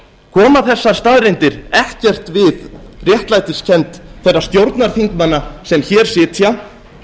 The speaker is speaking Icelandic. koma þessar staðreyndir ekkert við réttlætiskennd þeirra stjórnarþingmanna sem hér sitja